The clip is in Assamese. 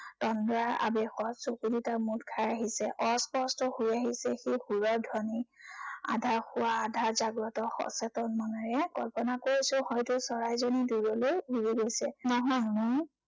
তন্দ্ৰা আৱেশত চকু দুটা মুদ খাই আহিছে। অস্পষ্ট হৈ আহিছে সেই সুৰৰ ধ্বনি। আধা শোৱা আধা জাগ্ৰত সচেতন মনেৰে কল্পনা কৰিছো হয়তো চৰাইজনী দূৰলৈ উৰি গৈছে।